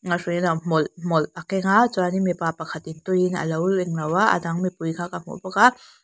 hmawlh hmawlh a keng a chuanin mipa pakhatin tuiin a lo englo a a dang mipui kha ka hmu bawk a.